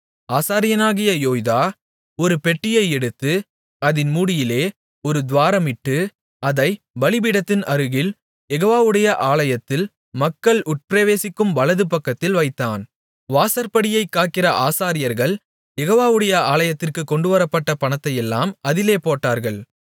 ஆசாரியனாகிய யோய்தா ஒரு பெட்டியை எடுத்து அதின் மூடியிலே ஒரு துவாரமிட்டு அதைப் பலிபீடத்தின் அருகில் யெகோவாவுடைய ஆலயத்தில் மக்கள் உட்பிரவேசிக்கும் வலதுபக்கத்தில் வைத்தான் வாசற்படியைக் காக்கிற ஆசாரியர்கள் யெகோவாவுடைய ஆலயத்திற்குக் கொண்டுவரப்பட்ட பணத்தையெல்லாம் அதிலே போட்டார்கள்